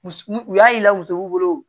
U y'a ye musow bolo